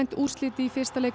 úrslit í fyrsta leik